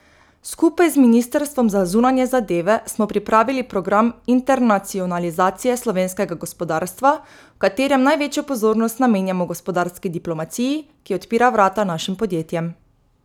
Skupaj z ministrstvom za zunanje zadeve smo pripravili program internacionalizacije slovenskega gospodarstva, v katerem največjo pozornost namenjamo gospodarski diplomaciji, ki odpira vrata našim podjetjem.